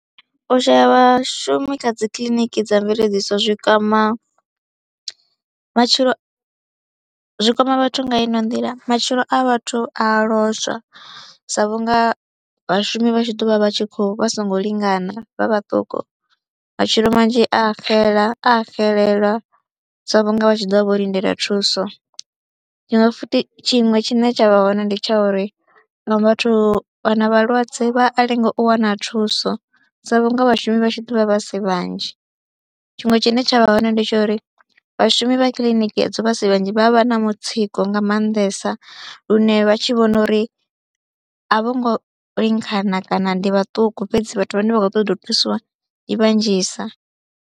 U shaya vhashumi kha dzi kiḽiniki dza mveledziso zwi kwama matshilo, zwi kwama vhathu nga ino nḓila, matshilo a vhathu a a lozwa sa vhunga vhashumi vha tshi ḓo vha vha tshi kho, vha songo lingana vha vhaṱuku, matshilo manzhi a xela, a xelelwa sa vhunga vha tshi ḓo vha vho lindela thuso. Tshiṅwe futhi tshiṅwe tshine tsha vha hone ndi tsha uri nga vhathu vhana vhalwadze vha a lenga u wana thuso sa vhunga vhashumi vha tshi ḓo vha vha si vhanzhi. Tshiṅwe tshine tsha vha hone ndi tsha uri vhashumi vha kiḽiniki edzo vha si vhanzhi vha vha vha na mutsiko nga maanḓesa lune vha tshi vhona uri a vho ngo lingana kana ndi vhaṱuku fhedzi vhathu vhane vha khou ṱoḓa u thusiwa i vhanzhisa.